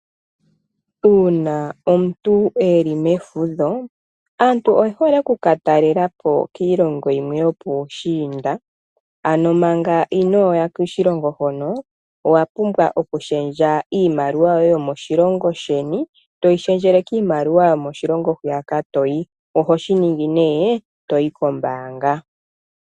Uuna omuntu wuli mefudho owu hole hoka talela po kiilongo yimwe yopuushiinda. Ano manga inooya koshilongo hono owa pumbwa okushendja iimaliwa yoye yomoshilongo sheni toyi shendjele kiimaliwa yokoshilongo hoka toyi, oho shi ningi nee toyi kombaanga.